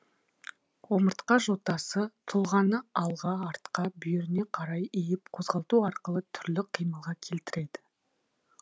омыртқа жотасы тұлғаны алға артқа бүйіріне қарай иіп қозғалту арқылы түрлі қимылға келтіреді